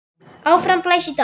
Áfram blæs í dag.